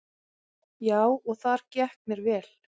Já, og þar gekk mér vel.